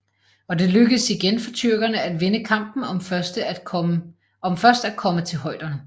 Og det lykkedes igen for tyrkerne at vinde kampen om først at komme til højderne